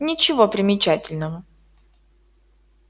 ничего примечательного